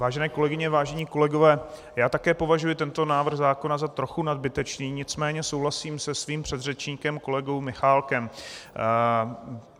Vážené kolegyně, vážení kolegové, já také považuji tento návrh zákona za trochu nadbytečný, nicméně souhlasím se svým předřečníkem kolegou Michálkem.